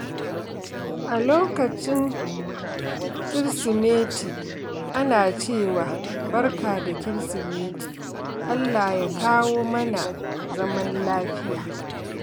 A lokacin Kirsimeti, ana cewa, "Barka da Kirsimeti, Allah ya kawo mana zaman lafiya."